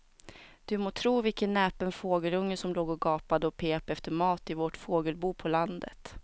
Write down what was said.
Du må tro vilken näpen fågelunge som låg och gapade och pep efter mat i vårt fågelbo på landet.